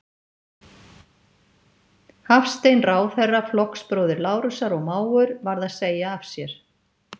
Hafstein, ráðherra, flokksbróðir Lárusar og mágur, varð að segja af sér.